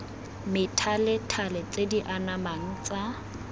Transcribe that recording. methalethale tse di anamang tsa